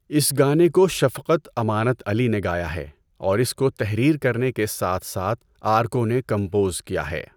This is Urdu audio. اس گانے کو شفقت امانت علی نے گایا ہے، اور اس کو تحریر کرنے کے ساتھ ساتھ آرکو نے کمپوز کیا ہے۔